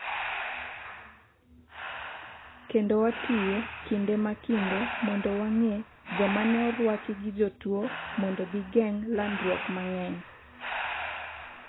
kendo watiyo kinde ma kinde mondo wang'e jomane orwaki gi jotuo mondo gigeng' landruok mang'eny